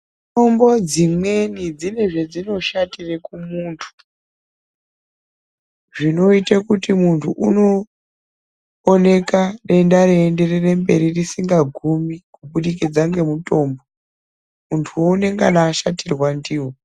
Mutombo dzimweni dzine zvadzinoshatire kumuntu, zvinoite kuti muntu unooneka denda eienderere mberi risikagumi kubudikidza nemutombo. Muntuwo unengana ashatirwa ndiwo.